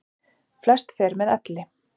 Flest fer með elli.